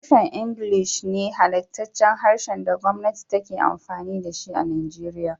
Harshen Ingilishi ne halattaccen harshen da gwamati take amfini da shi a Nigeria.